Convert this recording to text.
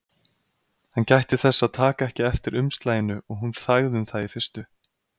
Hann gætti þess að taka ekki eftir umslaginu og hún þagði um það í fyrstu.